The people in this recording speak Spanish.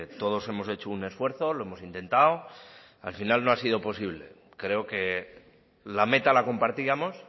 todos hemos hecho un esfuerzo lo hemos intentado al final no ha sido posible creo que la meta la compartíamos